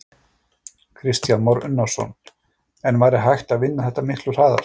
Kristján Már Unnarsson: En væri hægt að vinna þetta miklu hraðar?